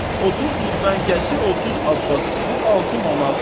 30 girvənkəsi 30 Abbası, bu 6 manat.